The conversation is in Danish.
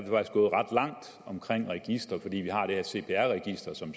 krænker registre fordi vi har det her cpr register som